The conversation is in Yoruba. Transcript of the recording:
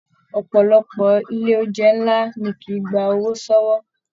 Ọpọlọpọ ilé oúnjẹ nlá ní kìí gbà owó sọwọ.